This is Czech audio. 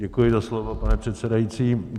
Děkuji za slovo, pane předsedající.